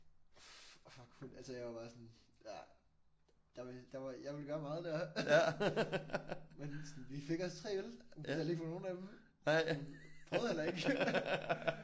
Fuck hun altså jeg var bare sådan ja der jeg ville gøre meget der men sådan vi fik os 3 øl. Hun betalte ikke for nogen af dem. Prøvede heller ikke